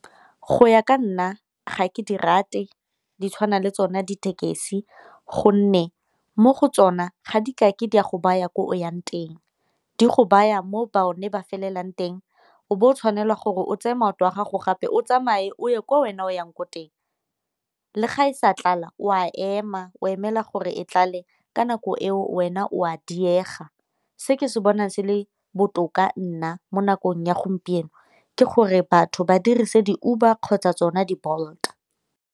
Go ya ka nna ga ke di rate di tshwana le tsona dithekesi, gonne mo go tsona ga di ka ke di a go baya ko o yang teng di go baya mo bone ba felelang teng o bo o tshwanelwa gore o tseye maoto a gago gape o tsamaye o ye kwa wena o yang ko teng. Le ga e sa tlala o a ema o emela gore e tlale ka nako eo wena o a diega, se ke se bonang se le botoka nna mo nakong ya gompieno ke gore batho ba dirise di-Uber kgotsa tsona di- Bolt.